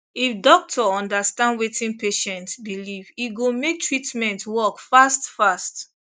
if doctor understand wetin patient believe e go make treatment work fast fast